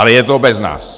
Ale je to bez nás.